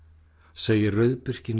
segir